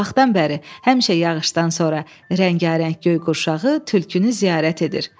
O vaxtdan bəri həmişə yağışdan sonra rəngarəng göy qurşağı tülkünü ziyarət edir.